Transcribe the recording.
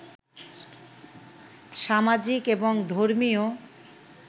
সামাজিক এবং ধর্মীয়